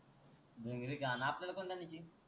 भिंगरी का मंग आपल्याला कोनती आणायची